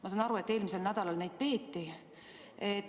Ma saan aru, et eelmisel nädalal neid peeti.